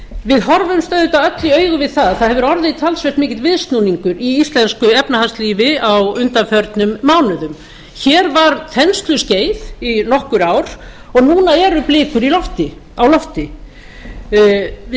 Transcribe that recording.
við horfumst auðvitað öll í augu við það að það hefur orðið talsvert mikill viðsnúningur í íslensku efnahagslífi á undanförnum mánuðum hér var þensluskeið í nokkur ár en núna eru blikur á lofti við